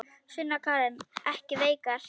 Sunna Karen: Ekki veikar?